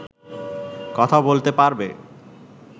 কথা বলতে পারবে